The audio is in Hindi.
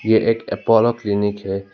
ये एक अपोलो क्लिनिक है।